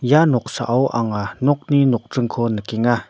ia noksao anga nokni nokdringko nikenga.